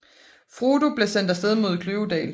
Frodo blev sendt af sted mod Kløvedal